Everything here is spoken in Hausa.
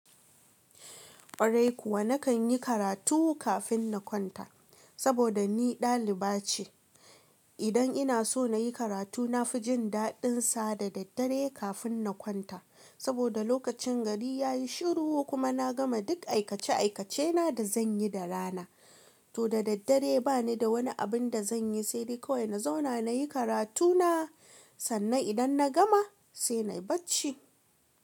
Ƙwarai kuwa nakan yi karatu kafin na kwanta saboda ni daliba ce. Idan ina so na yi karatu, na fi jin daɗinsa da daddare kafin na kwanta. Saboda lokacin gari ya yi shiru kuma na gama duk aikace-aikacena da zan yi da rana. To da daddare ba ni da wani abin da zan yi sai dai kawai na zauna na yi karatu na. Sannan idan na gama sai nai bacci.